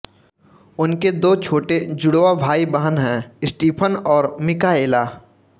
उनके दो छोटे जुड़वां भाईबहन हैं स्टीफन और मिकाएला